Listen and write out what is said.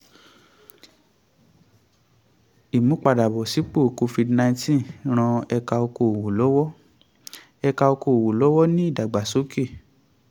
ìmúpadàbọ̀sípò covid-nineteen ran ẹ̀ka okoòwò lọ́wọ́ ẹ̀ka okoòwò lọ́wọ́ ní ìdàgbàsókè.